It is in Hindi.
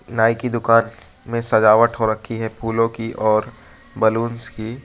नाई की दुकान में सजावट हो रखी है फूलों की और बलूंस की।